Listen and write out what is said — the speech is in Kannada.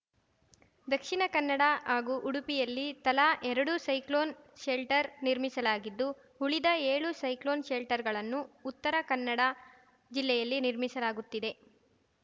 ದಕ್ಷಿಣ ಕನ್ನಡ ಹಾಗೂ ಉಡುಪಿಯಲ್ಲಿ ತಲಾ ಎರಡು ಸೈಕ್ಲೋನ್‌ ಶೆಲ್ಟರ್‌ ನಿರ್ಮಿಸಲಾಗಿದ್ದು ಉಳಿದ ಏಳು ಸೈಕ್ಲೋನ್‌ ಶೆಲ್ಟರ್‌ಗಳನ್ನು ಉತ್ತರ ಕನ್ನಡ ಜಿಲ್ಲೆಯಲ್ಲಿ ನಿರ್ಮಿಸಲಾಗುತ್ತಿದೆ